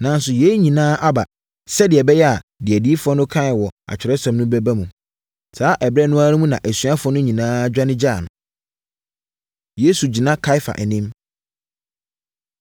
Nanso, yei nyinaa aba sɛdeɛ ɛbɛyɛ a deɛ adiyifoɔ no kaeɛ wɔ Atwerɛsɛm mu no bɛba mu.” Saa ɛberɛ no ara mu na asuafoɔ no nyinaa dwane gyaa no. Yesu Gyina Kaiafa Anim